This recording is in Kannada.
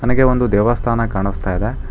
ನನಗೆ ಒಂದು ದೇವಸ್ಥಾನ ಕಾಣಸ್ತಾ ಇದೆ.